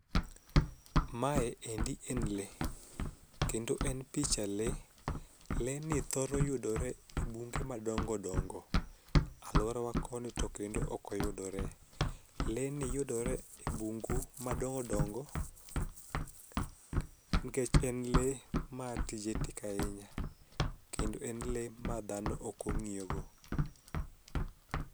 Mae endi en lee kendo en picha lee. Leeni thoro yudore e bunge madongodongo alworawa koni to kendo okoyudore. Lee ni yudore e bungu madongodongo nkech en lee ma tije tek ahinya kendo en lee ma dhano okong'iyogo.